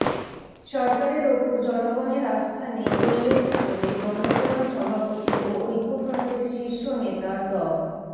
সরকারের ওপর জনগণের আস্থা নেই উল্লেখ করে গণফোরাম সভাপতি ও ঐক্যফ্রন্টের শীর্ষ নেতা ড